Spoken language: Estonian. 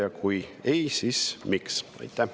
Ja kui ei, siis miks?